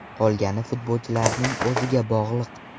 Qolgani futbolchilarning o‘ziga bog‘liq.